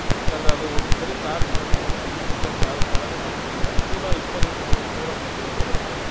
ಯಾಕಂದ್ರೆ ಅದು ಒಂದ್ ಸರಿ charge ಮಾಡಿದ್ರೆ ನಾವು ವಿದ್ಯುತ್ ಇಂದ ಚ~ ಚಲನೆ ಮಾಡ್ಕೊಂಡ್ರೆ ನೂರಾ ಇಪ್ಪತ್ರಿಂದ ನೂರಾ ಮೂವತ್ತ್ kilometer ಬರುತ್ತೆ.